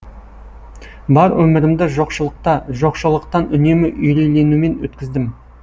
бар өмірімді жоқшылықта жоқшылықтан үнемі үрейленумен өткіздім